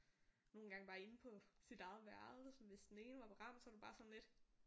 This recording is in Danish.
Nogen gange bare inde på sit eget værelse hvis den ene var ramt så var det bare sådan lidt